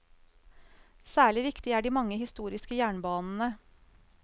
Særlig viktig er de mange historiske jernbanene.